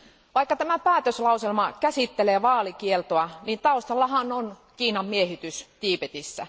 Vaikka tämä päätöslauselma käsittelee vaalikieltoa, taustalla on Kiinan miehitys Tiibetissä.